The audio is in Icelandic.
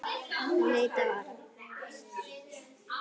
Hann leit á Ara.